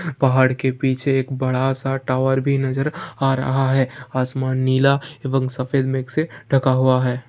पहाड़ के पीछे एक बड़ा सा टावर भी नज़र आ रहा है । असमान नीला एंवम सफ़ेद मिक्स से ढका हुआ है।